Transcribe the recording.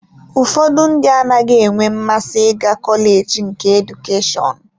Ụfọdụ ndị anaghị enwe mmasị ịga kọleji nke Edukeshọn